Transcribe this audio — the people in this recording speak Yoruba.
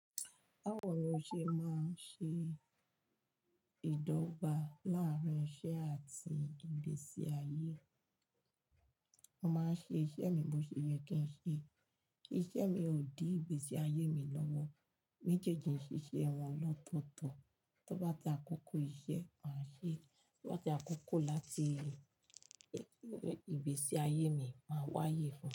Bawo ni ó ṣe máa ń ṣe ìdọ́gba láàrín iṣẹ́ àti ìgbésí ayé. Mo máa ń ṣe iṣẹ́ mi bó ṣe yẹ kí n ṣe, kí iṣẹ́ mi ò di ìgbésí ayé mi lọ́wọ́. Méjèèjì ṣíṣe wọn lọ tótọ́. Tó bá ti àkókò iṣẹ́, maa ṣe, tó bá ti àkókò láti ìgbésí ayé mi, máa wáyé fún un.